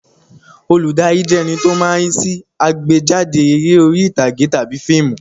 Olùdarí jẹ́ ẹní tó máa ń rí sí àgbéjáde eré orí ìtàgé tàbí fíìmù